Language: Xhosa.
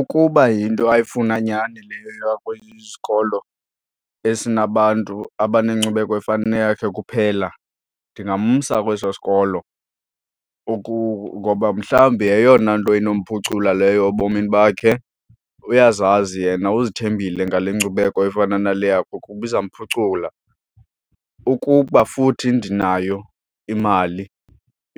Ukuba yinto ayifuna nyani leyo yoya kwesinye isikolo esinabantu abanenkcubeko efana neyakhe kuphela ndingamsa kweso sikolo ngoba mhlawumbi yeyona nto inomphucula leyo ebomini bakhe, uyazazi yena uzithembile ngale nkcubeko efana nale yakhe ukuba iza mphucula. Ukuba futhi ndinayo imali